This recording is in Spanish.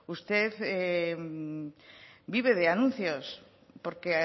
usted vive de anuncios porque